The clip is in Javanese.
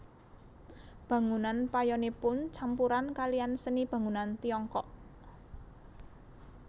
Bangunan payonipun campuran kaliyan seni bangunan Tiongkok